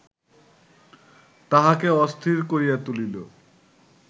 তাহাকে অস্থির করিয়া তুলিল